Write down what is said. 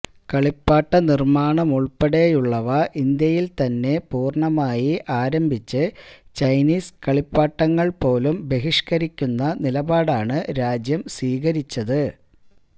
കളിപ്പാട്ട നിര്മ്മാണമുള്പ്പെടെയുള്ളവ ഇന്ത്യയില് തന്നെ പൂര്ണമായി ആരംഭിച്ച് ചൈനീസ് കളിപ്പാട്ടങ്ങള് േപാലും ബഹിഷ്കരിക്കുന്ന നിലപാടാണ് രാജ്യം സ്വീകരിച്ചത്